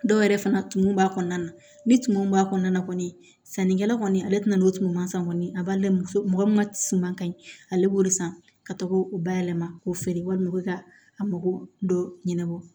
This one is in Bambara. Dɔw yɛrɛ fana tumun b'a kɔnɔna na ni tumu min b'a kɔnɔna kɔni ye sannikɛla kɔni ale tɛ na n'o tuma san kɔni a b'a layɛ muso min ka suman ka ɲi ale b'o de san ka taa k'o bayɛlɛma k'o feere walima ka a mako dɔ ɲɛnabɔ